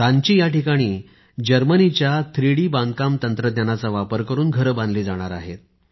रांची इथे जर्मनीच्या थ्रीडी बांधकाम तंत्रज्ञानाचा वापर करुन घरे बांधली जाणार आहेत